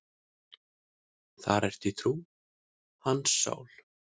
Þar ertu í trú, hans sál.